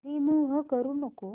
remove करू नको